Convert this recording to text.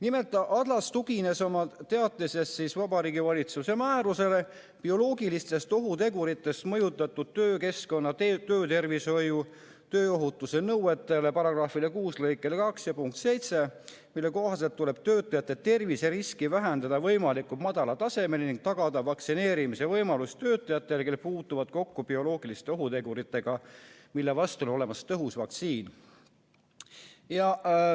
Nimelt, Adlas tugines oma teatises Vabariigi Valitsuse määruse "Bioloogilistest ohuteguritest mõjutatud töökeskkonna töötervishoiu ja tööohutuse nõuded" § 6 lõike 2 punktile 7, mille kohaselt tuleb töötajate terviseriski hoida võimalikult madalal tasemel ning tagada vaktsineerimise võimalus töötajatele, kes puutuvad kokku bioloogiliste ohuteguritega, mille vastu on olemas tõhus vaktsiin.